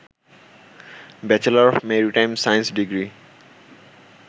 bachelor of maritime science degree